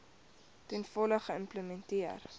ten volle geïmplementeer